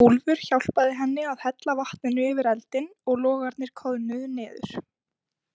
Úlfur hjálpaði henni að hella vatninu yfir eldinn og logarnir koðnuðu niður.